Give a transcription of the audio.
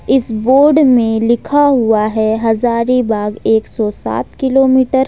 इस बोर्ड में लिखा हुआ है हजारीबाग एक सौ सात किलोमीटर।